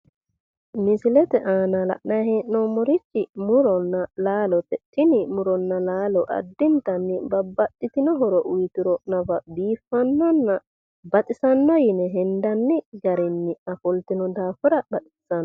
misilete aana la'nanni hee'noommorichi muronna laalote tini muronna laalo addintanni babbaxitino horo uyiituro nafa biiffannonna baxisanno yine hendani garinni ofoltino daafira baxissanno.